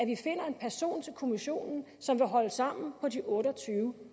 vi finder en person til kommissionen som vil holde sammen på de otte og tyve